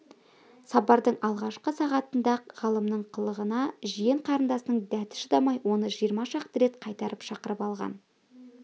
сапардың алғашқы сағатында-ақ ғалымның қылығына жиен қарындасының дәті шыдамай оны жиырма шақты рет қайтара шақырып алған